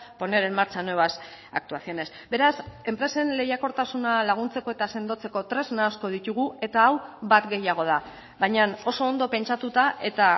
poner en marcha nuevas actuaciones beraz enpresen lehiakortasuna laguntzeko eta sendotzeko tresna asko ditugu eta hau bat gehiago da baina oso ondo pentsatuta eta